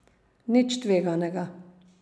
Nič tveganega.